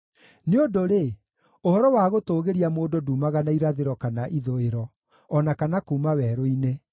Nĩ ũndũ-rĩ, ũhoro wa gũtũũgĩria mũndũ nduumaga na irathĩro kana ithũĩro, o na kana kuuma werũ-inĩ.